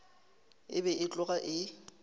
e be e tloga e